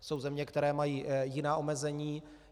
Jsou země, které mají jiná omezení.